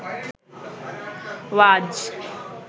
ওয়াজ